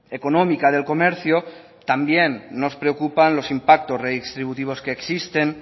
económica del comercio también nos preocupan los impactos retributivos que existen